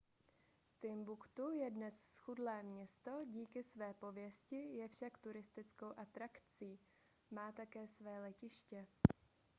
timbuktu je dnes zchudlé město díky své pověsti je však turistickou atrakci má také své letiště